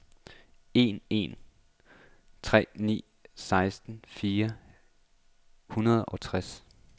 en en tre ni seksten fire hundrede og tres